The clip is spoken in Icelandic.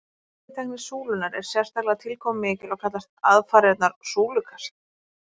Veiðitækni súlunnar er sérstaklega tilkomumikil og kallast aðfarirnar súlukast.